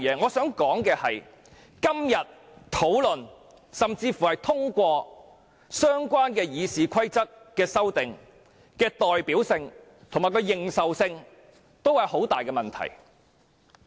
我想指出的是，今天如討論甚至通過對《議事規則》的相關修訂，在代表性及認受性方面均會出現很大問題。